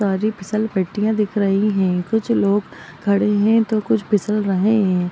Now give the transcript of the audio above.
सारी फिसल पट्टियां दिख रही है कुछ लोग खड़े है तो कुछ फिसल रहे है।